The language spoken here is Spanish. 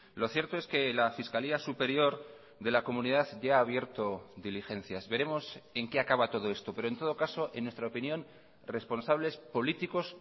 lo cierto es que la fiscalía superior de la comunidad ya ha abierto diligencias veremos en qué acaba todo esto pero en todo caso en nuestra opinión responsables políticos